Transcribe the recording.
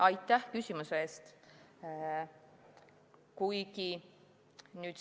Aitäh küsimuse eest!